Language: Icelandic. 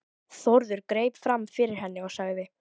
Þórður greip fram fyrir henni og sagði